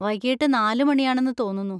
വൈകിട്ട് നാല് മണിയാണെന്ന് തോന്നുന്നു.